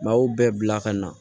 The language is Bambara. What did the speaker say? Maaw bɛɛ bila ka na